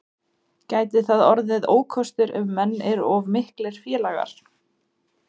Gæti það orðið ókostur ef menn eru of miklir félagar?